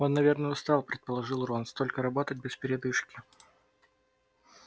он наверное устал предположил рон столько работать без передышки